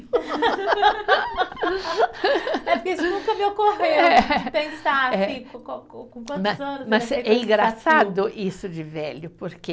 é porque isso nunca me ocorreu, de pensar assim, com com, com quantos anos. Mas é engraçado isso de velho, porque